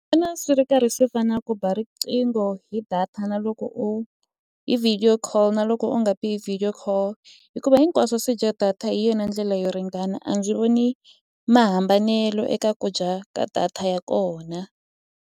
Vona swi ri karhi swi fana na ku ba riqingho hi data na loko u hi video call na loko u nga bi video call hikuva hinkwaswo swi dya data hi yona ndlela yo ringana a ndzi voni mahambanelo eka ku dya ka data ya kona.